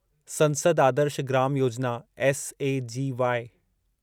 संसद आदर्श ग्राम योजना एसएजीवाई